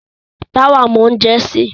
Táwà mọ oúnjẹ sè.